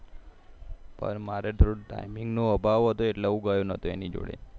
પણ મારે થોડો timing નો અભાવ હતો એટલે હું ગયો નાતો એની જોડે